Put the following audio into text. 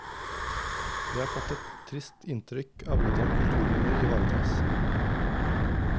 Vi har fått et trist inntrykk av hvordan kulturminner ivaretas.